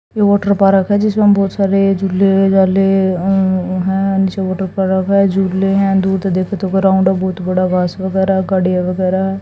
ये water park है जिसमें हम बहोत सारे झूले झाले अं उ है नीचे वाटर पारक है झूले है दूध देखत तो ग्राउंड बहुत बड़ा घास वगैरा गाड़ी वगैरा--